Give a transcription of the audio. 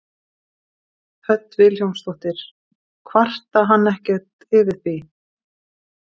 Hödd Vilhjálmsdóttir: Kvarta hann ekkert yfir því?